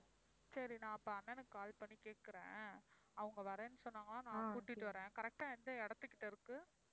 சரி நான் அப்ப அண்ணனுக்கு call பண்ணி கேட்குறேன். அவங்க வர்றேன்னு சொன்னாங்கனா நான் கூட்டிட்டு வர்றேன். correct ஆ எந்த இடத்துக்கிட்ட இருக்கு?